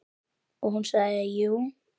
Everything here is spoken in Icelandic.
Og hún sagði jú.